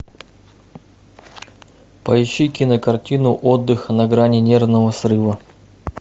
поищи кинокартину отдых на грани нервного срыва